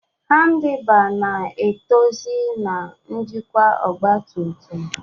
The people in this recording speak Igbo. Handibar na etuzi na njikwa ọgba tum tum.